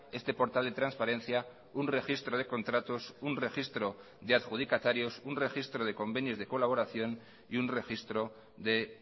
este portal de transparencia un registro de contratos un registro de adjudicatarios un registro de convenios de colaboración y un registro de